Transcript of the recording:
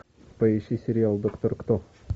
поищи сериал доктор кто